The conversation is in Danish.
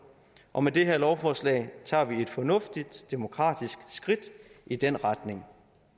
og med det her lovforslag tager vi et fornuftigt demokratisk skridt i den retning